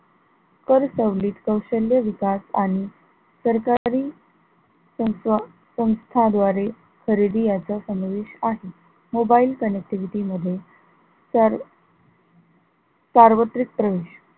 कर सवलीत, कौशल्य विकास आणि सरकारी संस्था संस्था द्वारे खरेदी असा समावेश आहे, mobile connectivity मध्ये सार सार्वत्रिक प्रवेश,